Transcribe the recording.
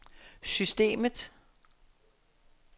systemet